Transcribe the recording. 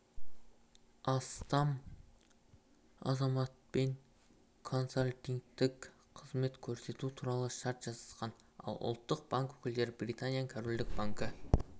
астам азаматпен консалтингтік қызмет көрсету туралы шарт жасасқан ал ұлттық банк өкілдері британияның корольдік банкі